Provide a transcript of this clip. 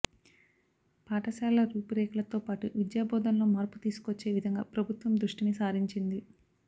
పాఠశాలల రూపురేఖలతో పాటు విద్యా బోధనలో మార్పు తీసుకొచ్చే విధంగా ప్రభుత్వం దృష్టిని సారించింది